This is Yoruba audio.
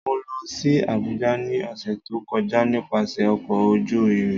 Mo lọ si Abuja ni ọsẹ to kọja nipasẹ ọkọ oju irin.